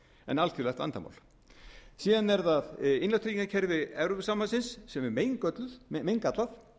en alþjóðlegt vandamál áttunda síðan er það innlánstryggingakerfi evrópusambandsins sem er meingallað